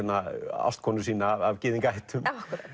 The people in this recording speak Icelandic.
ástkonu sína af gyðingaættum